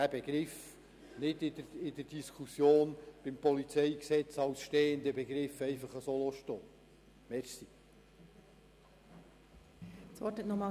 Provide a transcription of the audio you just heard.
Ich möchte jedoch diesen Begriff in der Diskussion zum PolG nicht einfach stehen lassen.